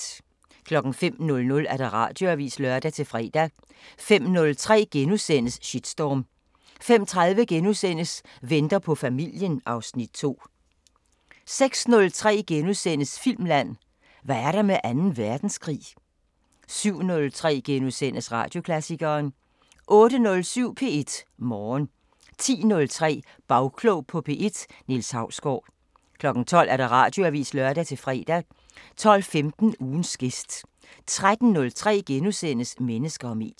05:00: Radioavisen (lør-fre) 05:03: Shitstorm * 05:30: Venter på familien (Afs. 2)* 06:03: Filmland: Hvad er der med anden verdenskrig? * 07:03: Radioklassikeren * 08:07: P1 Morgen 10:03: Bagklog på P1: Niels Hausgaard 12:00: Radioavisen (lør-fre) 12:15: Ugens gæst 13:03: Mennesker og medier *